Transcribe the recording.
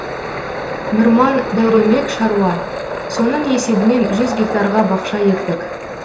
нұрман дәуренбек шаруа соның есебінен жүз гектарға бақша ектік